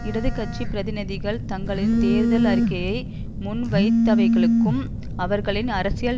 இடது கட்சி பிரதிநிதிகள் தங்களின் தேர்தல் அறிக்கையை முன்வைத்தவைகளுக்கும் அவர்களின் அரசியல்